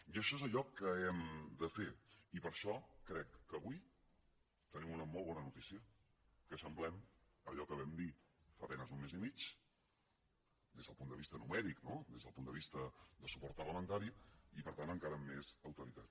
i això és allò que hem de fer i per això crec que avui tenim una molt bona notícia que eixamplem allò que vam dir fa a penes un mes i mig des del punt de vista numèric no des del punt de vista de suport parlamentari i per tant encara amb més autoritat